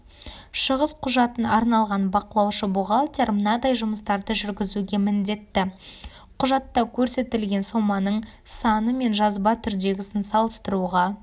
шығыс құжатын алған бақылаушы-бухгалтер мынадай жұмыстарды жүргізуге міндетті құжатта көрсетілген соманың саны мен жазба түрдегісін салыстыруға